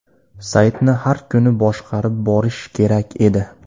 Saytni har kuni boshqarib borish kerak edi.